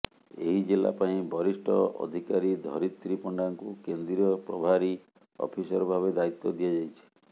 ଏହି ଜିଲ୍ଲାପାଇଁ ବରିଷ୍ଠ ଅଧିକାରୀ ଧରିତ୍ରୀ ପଣ୍ଡାଙ୍କୁ କେନ୍ଦ୍ରୀୟ ପ୍ରଭାରୀ ଅଫିସର ଭାବେ ଦାୟିତ୍ୱ ଦିଆଯାଇଛି